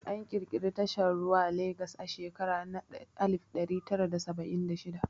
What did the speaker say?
An ƙirƙiri tashar ruwa Lagas a shekara na alif ɗari tara da saba'in da shida